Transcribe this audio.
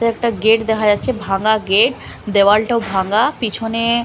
তো একটা গেট দেখা যাচ্ছে একটা ভাঙা গেট দেওয়ালটাও ভাঙা পিছনে --